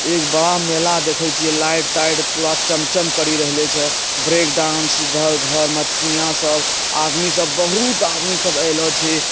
एक बड़ा मेला देखइ छे लाइट टाइट पूरा चम् चम् करि रहेले छे ब्रेकडांस इधर उधर मटकुनिया सब आदमी सब बहुत आदमी सब अएला छे।